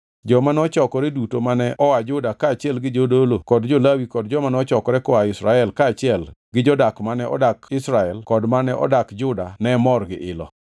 Joma nochokore duto mane oa Juda kaachiel gi jodolo kod jo-Lawi kod joma nochokore koa Israel kaachiel gi jodak mane odak Israel kod mane odak Juda ne mor gi ilo.